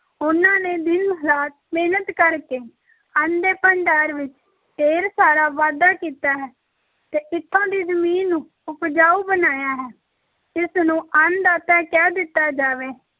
ਉਹਨਾਂ ਨੇ ਦਿਨ-ਰਾਤ ਮਿਹਨਤ ਕਰ ਕੇ ਅੰਨ ਦੇ ਭੰਡਾਰ ਵਿੱਚ ਢੇਰ ਸਾਰਾ ਵਾਧਾ ਕੀਤਾ ਹੈ ਤੇ ਇੱਥੋਂ ਦੀ ਜ਼ਮੀਨ ਨੂੰ ਉਪਜਾਊ ਬਣਾਇਆ ਹੈ, ਇਸ ਨੂੰ ਅੰਨ ਦਾਤਾ ਕਹਿ ਦਿੱਤਾ ਜਾਵੇ